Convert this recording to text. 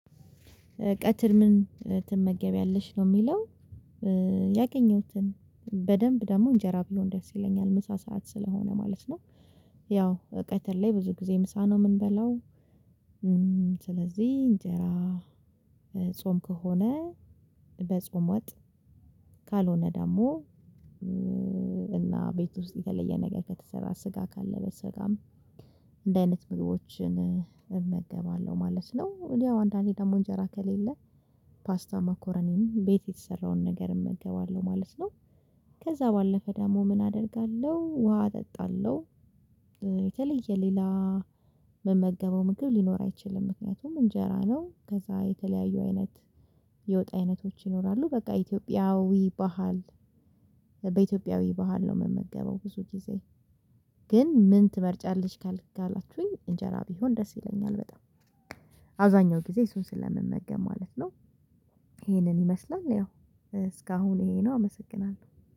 ቀትር ምን ትመገቢያለሽ ነው የሚለው? ያገኘሁትን በደንብ ደግሞ እንጀራ ቢሆን ደስ ይለኛል ምሳ ሰዓት ስለሆነ ማለት ነው። ያው ቀትር ላይ ብዙ ጊዜ ምሳ ነው የምንበላው። ስለዚህ እንጀራ ጾም ከሆነ በጾም ወጥ ካልሆነ ደግሞ እና ቤት ውስጥ የተለየ ነገር ከተሰራ ስጋ ካለ በስጋም እንዲህ አይነት ምግቦችን እመገባለሁ ማለት ነው። ያው አንዳንዴ ደግሞ እንጀራ ከሌለ ፓስታ ማኮረኒም ቤት የተሰራውን ነገር እመገባለሁ ማለት ነው። ከዛ ባለፈ ደግሞ ምን አደርጋለሁ ውሃ እጠጣለሁ። የተለየ ሌላ ምመገበው ምግብ ሊኖር አይችልም። ምክንያቱም እንጀራ ነው ከዛ የተለያዩ አይነት የወጥ አይነቶች ይኖራሉ በቃ ኢትዮጵያዊ ባህል በኢትዮጵያዊ ባህል ነው የምመገበው ብዙ ጊዜ። ግን ምን ትመርጫለች ካልክ ካላችሁኝ እንጀራ ቢሆን ድረስ ይለኛል በጣም አብዛኛው ጊዜ እሱን ስለምመገብ ማለት ነው። ይሄንን ይመስላል ያው እስካሁን ይሄ ነው። አመሰግናለሁ